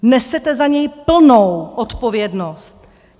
Nesete za něj plnou odpovědnost!